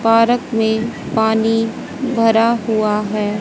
Park में पानी भरा हुआ है।